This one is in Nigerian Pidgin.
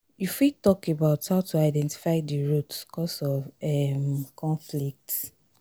you fit talk about how to identify di root cause of um conflict.